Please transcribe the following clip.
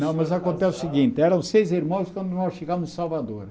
Não, mas acontece o seguinte, eram seis irmãos quando nós chegamos em Salvador.